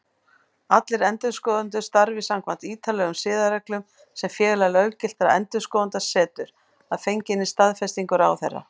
Allir endurskoðendur starfi samkvæmt ítarlegum siðareglum sem Félag löggiltra endurskoðenda setur, að fenginni staðfestingu ráðherra.